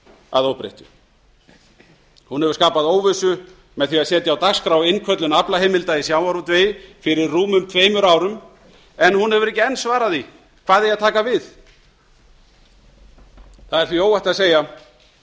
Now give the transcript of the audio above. að óbreyttu hún hefur skapað óvissu með því að setja á dagskrá innköllun aflaheimilda í sjávarútvegi fyrir rúmum tveimur árum en hún hefur ekki enn svarað því hvað eigi að taka við það er því óhætt að segja